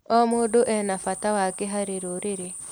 O mũndũ ena bata wake harĩ rũrĩrĩ.